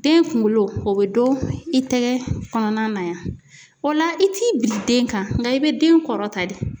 Den kunkolo o bɛ don i tɛgɛ kɔnɔna na yan o la i t'i biri den kan nga i bɛ den kɔrɔ ta de.